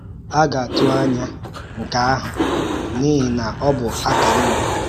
À ga-atụ̀ ànyá nke àhụ̀, n’ihi na ọ bụ akara ùgwù